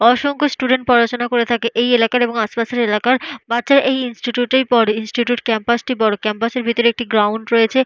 অসংখ্য স্টুডেন্ট পড়াশুনা করে থাকে। এই এলাকার এবং আশপাশের এলাকার বাচ্চারা এই ইনস্টিটিউট এই পড়ে। ইনস্টিটিউট ক্যাম্পাস -টি বড়। ক্যাম্পাস এর ভেতরে একটি গ্রাউন্ড রয়েছে।